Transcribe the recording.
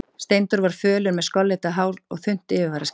Steindór var fölur, með skollitað hár og þunnt yfirvararskegg.